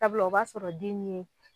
Sabula o b'a sɔrɔ den ye